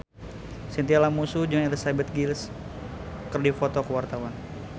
Chintya Lamusu jeung Elizabeth Gillies keur dipoto ku wartawan